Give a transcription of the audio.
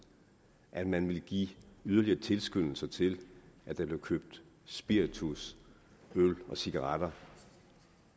at man vil give yderligere tilskyndelse til at der bliver købt spiritus øl og cigaretter